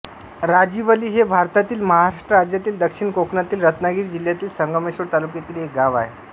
राजिवली हे भारतातील महाराष्ट्र राज्यातील दक्षिण कोकणातील रत्नागिरी जिल्ह्यातील संगमेश्वर तालुक्यातील एक गाव आहे